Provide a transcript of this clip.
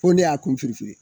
Ko ne y'a kun firifiri